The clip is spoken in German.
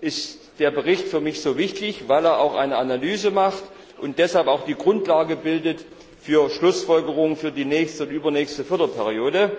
ist der Bericht für mich so wichtig, weil er auch eine Analyse enthält und deshalb auch die Grundlage bildet für Schlussfolgerungen für die nächste und übernächste Förderperiode.